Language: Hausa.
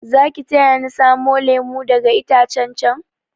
Zaki taya ni samo lemu daga itacen chan?